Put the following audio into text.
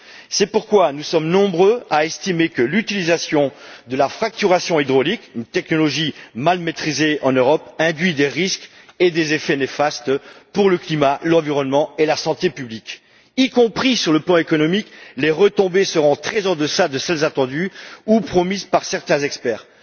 C'est pourquoi nous sommes nombreux à estimer que l'utilisation de la fracturation hydraulique une technologie mal maîtrisée en Europe induit des risques et des effets néfastes pour le climat, l'environnement et la santé publique. Sur le plan économique, les retombées seront très en deçà de celles attendues ou promises par certains experts.